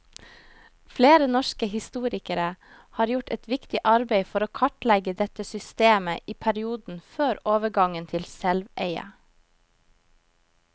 Flere norske historikere har gjort et viktig arbeid for å kartlegge dette systemet i perioden før overgangen til selveie.